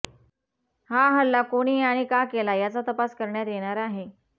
हा हल्ला कोणी आणि का केला याचा तपास करण्यात येणार आहे